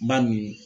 Ba nin